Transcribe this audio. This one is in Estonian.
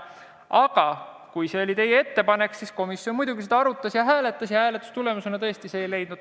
Aga kuna see oli teie ettepanek, siis komisjon seda muidugi arutas ja hääletas, kuid hääletuse tulemusena see tõesti toetust ei leidnud.